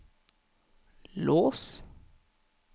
lås